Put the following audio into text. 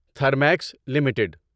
Thermax limited